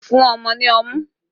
Fún ọmọ ní ọmú!